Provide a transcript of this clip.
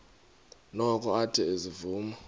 noko athe ezivuma